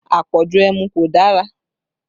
Àpọ̀jù ẹmu kò dára